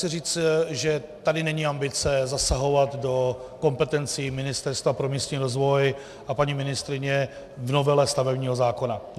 Chci říct, že tady není ambice zasahovat do kompetencí Ministerstva pro místní rozvoj a paní ministryně v novele stavebního zákona.